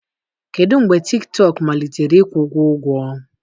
Kedu mgbe TikTok malitere ịkwụ gị ụgwọ?